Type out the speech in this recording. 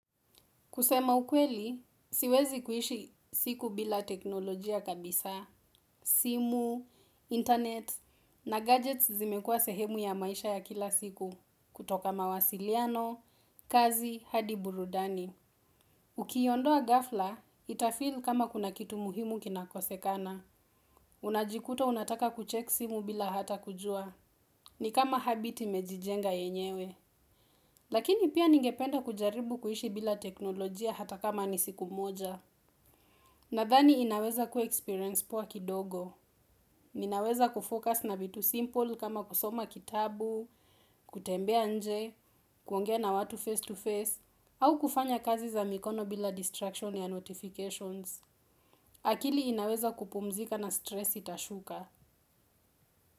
Kusema ukweli, siwezi kuishi siku bila teknolojia kabisa, simu, internet, na gadgets zimekua sehemu ya maisha ya kila siku, kutoka mawasiliano, kazi, hadi burudani. Ukiiondoa ghafla, itafeel kama kuna kitu muhimu kinakosekana. Unajikuta unataka kuchek simu bila hata kujua. Ni kama habit imejijenga yenyewe. Lakini pia ningependa kujaribu kuishi bila teknolojia hata kama ni siku moja. Nadhani inaweza kuwa experience poa kidogo. Ninaweza kufocus na vitu simple kama kusoma kitabu, kutembea nje, kuongea na watu face to face, au kufanya kazi za mikono bila distraction ya notifications. Akili inaweza kupumzika na stress itashuka.